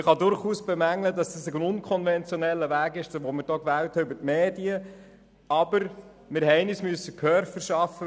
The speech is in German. Man kann durchaus bemängeln, dass wir einen unkonventionellen Weg gewählt haben via Medien, aber wir mussten uns Gehör verschaffen.